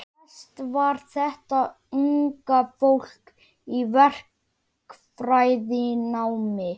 Flest var þetta unga fólk í verkfræðinámi.